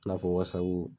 I n'a fɔ wasabu